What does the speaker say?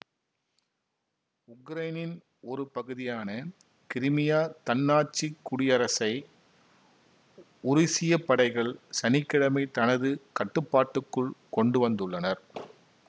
உக்ரைனின் ஒரு பகுதியான கிரிமியா தன்னாட்சிக் குடியரசை உருசிய படைகள் சனி கிழமை தமது கட்டுப்பாட்டுக்குள் கொண்டு வந்துள்ளனர்